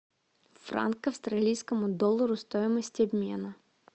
франк к австралийскому доллару стоимость обмена